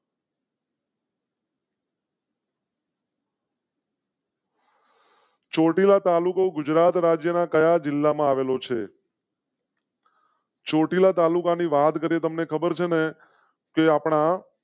ચોટીલા તાલુકો ગુજરાત રાજ્ય ના કયા જિલ્લામાં આવેલું છે? ચોટીલા તાલુકા ની વાત કરેં તમ ને ખબર છે ને કે આપના?